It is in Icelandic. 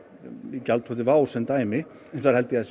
gjaldþroti WOW sem dæmi hins vegar held ég að